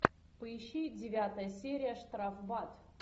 поищи девятая серия штрафбат